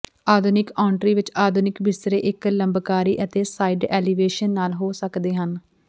ਆਧੁਨਿਕ ਆਊਟਰੀ ਵਿਚ ਆਧੁਨਿਕ ਬਿਸਤਰੇ ਇੱਕ ਲੰਬਕਾਰੀ ਅਤੇ ਸਾਈਡ ਏਲੀਵੇਸ਼ਨ ਨਾਲ ਹੋ ਸਕਦੇ ਹਨ